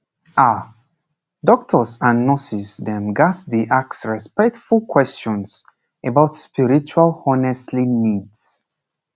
ah doctors and nurses dem ghats dey ask respectful questions about spiritual honestly needs